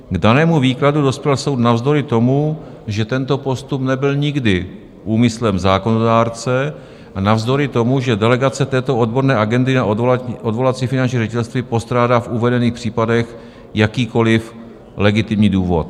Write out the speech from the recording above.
K danému výkladu dospěl soud navzdory tomu, že tento postup nebyl nikdy úmyslem zákonodárce, a navzdory tomu, že delegace této odborné agendy na odvolací finanční ředitelství postrádá v uvedených případech jakýkoliv legitimní důvod.